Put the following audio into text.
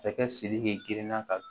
Masakɛ sidiki girinna ka